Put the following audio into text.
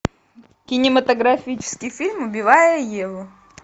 кинематографический фильм убивая еву